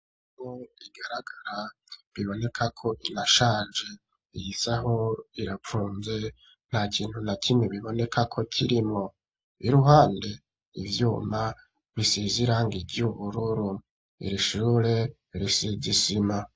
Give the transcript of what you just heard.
Isaho igaragara biboneka ko inashaje, iyi saho irapfunze nta kintu na kimwe bibonekako kirimwo, iruhande ivyuma bisize irangi ry'ubururu, iri shure risize isima.